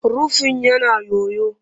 Rufin yana yoyo